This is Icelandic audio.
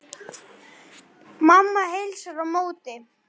Mamma heilsar á móti.